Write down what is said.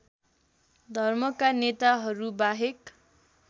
धर्मका नेताहरू बाहेक